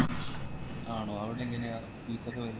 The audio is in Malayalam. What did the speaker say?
ആണോ അവിടെങ്ങനെയാ fees ഒക്കെ വെരുന്നേ